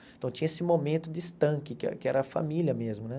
Então tinha esse momento de estanque, que é que era a família mesmo, né?